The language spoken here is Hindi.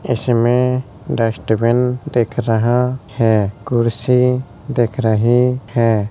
इसमें डस्टबिन दिख रहा है। कुर्सी दिख रही है।